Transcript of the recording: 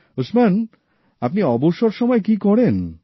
উসমান আপনি অবসর সময় কী করেন